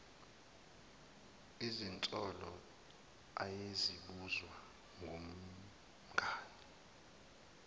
izinsolo ayezibuzwa ngumngani